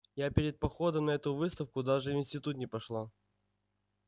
я перед походом на эту выставку даже в институт не пошла